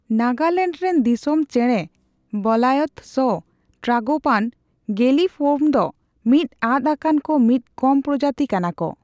ᱱᱟᱜᱟᱞᱮᱱᱰ ᱨᱮᱱ ᱫᱚᱤᱥᱚᱢ ᱪᱮᱬᱮ ᱵᱞᱟᱭᱛᱷ'ᱥ ᱴᱨᱟᱜᱳᱯᱟᱱ, ᱜᱮᱞᱤᱯᱷᱚᱨᱢ ᱫᱚ ᱢᱤᱫ ᱟᱫᱽ ᱟᱠᱟᱱ ᱠᱚ ᱢᱤᱫ ᱠᱚᱢ ᱯᱨᱚᱡᱟᱛᱤ ᱠᱟᱱᱟᱠᱚ ᱾